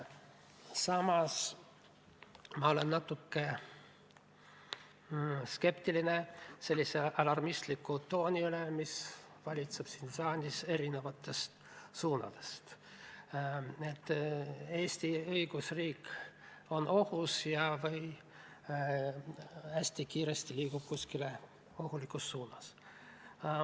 Samas olen natuke skeptiline sellise alarmistliku tooni üle, mis valitseb siin saalis erinevatest suundadest: et Eesti õigusriik on ohus või liigub hästi kiiresti kuskile ohtlikus suunas.